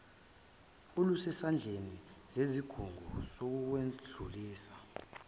olusezandleni zesigungu sokwedlulisa